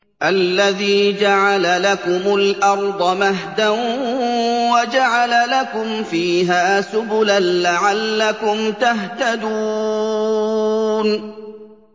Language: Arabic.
الَّذِي جَعَلَ لَكُمُ الْأَرْضَ مَهْدًا وَجَعَلَ لَكُمْ فِيهَا سُبُلًا لَّعَلَّكُمْ تَهْتَدُونَ